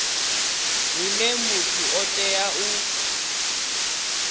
huna muthu o teaho u